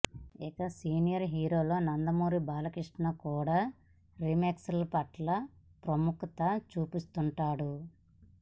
ఇక సీనియర్ హీరోల్లో నందమూరి బాలకృష్ణ కూడా రీమేక్ల పట్ల విముఖత చూపిస్తుంటాడు